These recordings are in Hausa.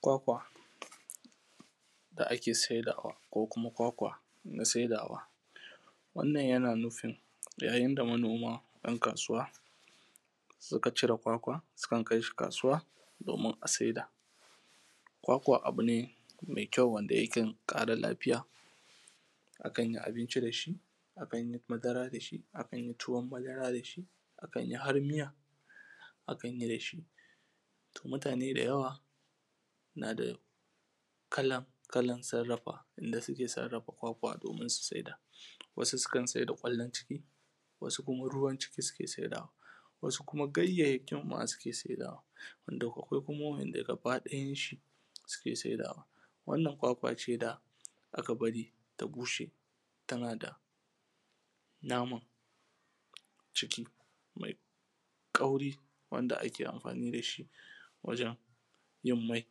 kwakwa da ake saidawa ko kuma kwakwa na saidawa wannan yana nufin yayin da manoma ‘yan kasuwa suka cire kwakwa sukan kaishi kasuwa domin a saida kwakwa abu ne mai kyau wanda yakan ƙara lafiya akanyi abinci da shi akan yi madara da shi akan yi tuwon madara da shi akan yi har miya akan yi da shi to mutane da yawa na da kalan kalan sarrafa da suke sarrafa kwakwa domin su saida wasu sukan saida kallon ciki wasu kuma ruwan ciki suke saidawa wasu kuma ganyanyakin ma suke saidawa wanda akwai kuma gaba ɗayan shi suke saidawa wannan kwakwa ce da aka bari ta bushe tana da naman ciki mai kwauri wanda ake amfani da shi wajen yin mai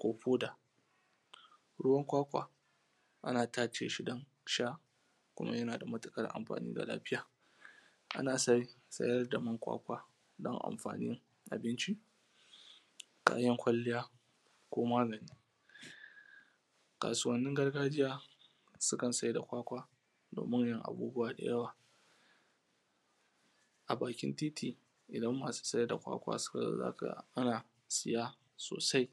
ko hoda ruwan kwakwa ana tace shi don sha kuma yana da matuƙar amfani ga lafiyan ana sayar da man kwakwa don amfanin abinci kayan kwalliya ko magani kasuwannin gargajiya sukan saida kwakwa domin yin abubuwa da yawa a bakin titi idan masu saida kwakwa suka zo za ka ga ana siya sosai